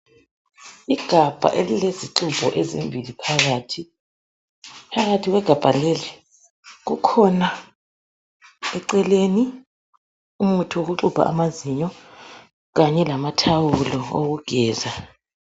Igabha elilezixubho ezimbili phakathi. Phakathi kwegabga leli, kukhona, eceleni umuthi wokuxubha amazinyo. Kanye lamathawulo okugeza.